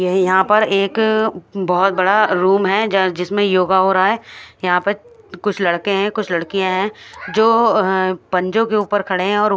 यह यहाँ पर एक बोहोत बड़ा रूम है ज- जिसमे योगा हो रहा है यहाँ पर कुछ लड़के है कुछ लडकिया है जो पंजो के ऊपर खड़े है।